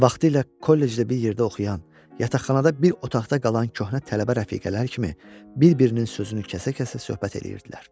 Və vaxtilə kollecdə bir yerdə oxuyan, yataqxanada bir otaqda qalan köhnə tələbə rəfiqələri kimi bir-birinin sözünü kəsə-kəsə söhbət eləyirdilər.